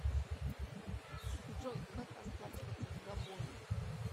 джой как расплачиваться в габоне